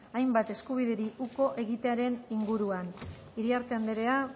hainbat eskubideri uko egitearen inguruan iriarte andrea